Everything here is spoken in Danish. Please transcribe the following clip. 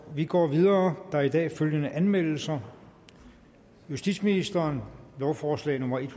vi går videre der er i dag følgende anmeldelser justitsministeren lovforslag nummer l